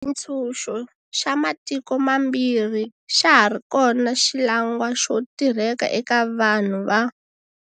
Xitshunxo xa matiko mambirhi xa ha ri xona xilangwa xo tirheka eka vanhu va.